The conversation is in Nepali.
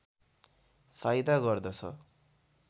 फाइदा गर्दछ